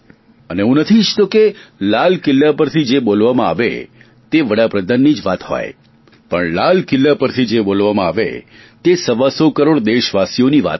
અને હું નથી ઇચ્છતો કે લાલ કિલ્લા પરથી જે બોલવામાં આવે તે વડાપ્રધાનની વાત હોય લાલ કિલ્લા પરથી જે બોલવામાં આવે તે સવાસો કરોડ દેશવાસીઓની વાત હોય